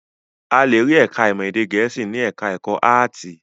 A le rí ẹ̀ka-ìmọ̀ èdè Gẹ̀ẹ́sì ní ẹ̀ka-ẹ̀kọ́ áátì.